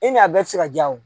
I ni a bɛɛ tɛ se ka jaa o.